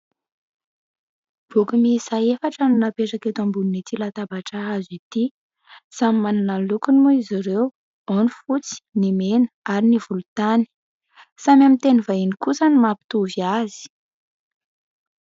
Boky miisa efatra no napetraka eto ambonin'ity latabatra hazo ity. Samy manana ny lokony moa izy ireo ao ny fotsy ny mena ary ny volontany ; samy amin'ny teny vahiny kosa ny mapitovy azy.